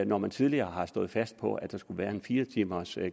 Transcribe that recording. når man tidligere har stået fast på at der skulle være en fire timers